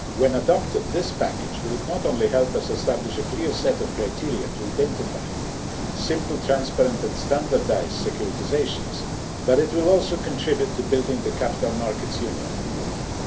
When adopted, this package will not only help us establish a clear set of criteria to identify simple, transparent and standardised securitisations, but it will also contribute to building the Capital Markets Union in Europe.